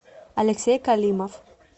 алексей калимов